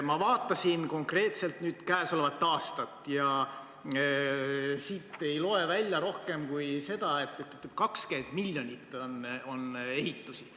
Ma vaatasin konkreetselt käesolevat aastat ja siit ei ole loe välja rohkemat kui üksnes seda, et 20 miljoni eest on ehitusi.